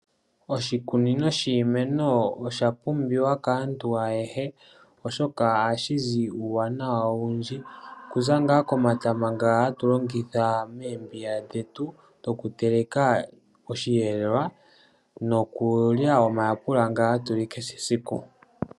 Oshikunino shiimeno osha pumbiwa kaantu ayehe oshoka ohashi zi uuwanawa owundji kuza komatama nga hatu longitha moombiga dhetu dhokuteleka oshiyelelwa nokulya omayapela nga hatu li kehe esiku.